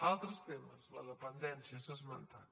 altres temes la dependència s’ha esmentat